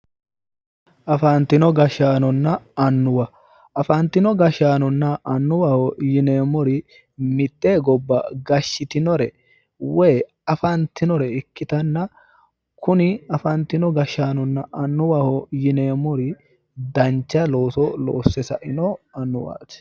Afantino gashaanonna annuwa ,afantino gashaano nna annuwaho yinneemmori mite gobba gashiitinore woyi afantinore ikkittanna kuni afantino gashaanonna annuwaho yinneemmori dancha looso loosse saino annuwati